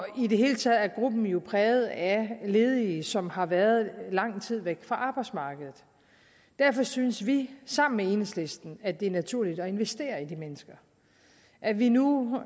i det hele taget er gruppen jo præget af ledige som har været lang tid væk fra arbejdsmarkedet derfor synes vi sammen med enhedslisten at det er naturligt at investere i de mennesker at vi nu